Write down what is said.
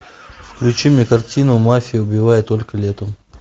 включи мне картину мафия убивает только летом